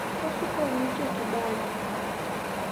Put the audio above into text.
osuko wich e kibanda